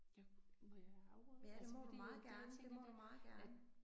Jeg må jeg afbryde? Altså fordi at det jeg tænkte det at